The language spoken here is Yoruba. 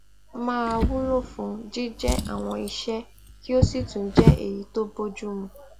máa wúlò fún jíjẹ àwọn iṣé kí ó sì tún jé èyí tó bójú mu